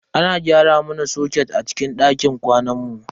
Ana gyara mana soket a cikin dakin kwanan mu.